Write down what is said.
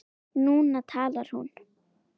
Núna talar hún.